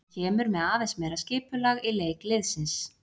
Hann kemur með aðeins meira skipulag í leik liðsins.